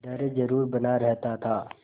डर जरुर बना रहता था